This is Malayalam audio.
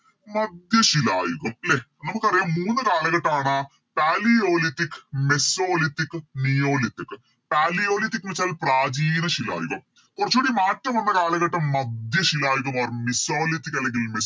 മധ്യശിലായുഗം ലെ നമുക്കറിയാം മൂന്ന് കാലഘട്ടാണ് Palaeolithic mesolithic ഉം neolithic ഉം Palaeolithic എന്നുവെച്ചാൽ പ്രാചീനശിലായുഗം കൊറച്ചൂടി മാറ്റം വന്ന കാലഘട്ടം മധ്യശിലായുഗം or mesolithic അല്ലെങ്കിൽ മിസ്